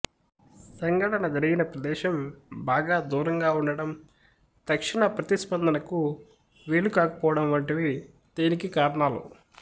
సంఘటన జరిగిన ప్రదేశం బాగా దూరంగా ఉండడం తక్షణ ప్రతిస్పందనకు వీలు కాకపోవడం వంటివి దీనికి కారణాలు